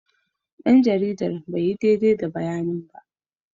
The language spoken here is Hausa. Dan jaridar bai yi daidai da bayanin ba.